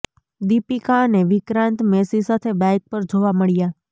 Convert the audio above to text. દીપિકા અને વિક્રાંત મેસી સાથે બાઇક પર જોવા મળ્યા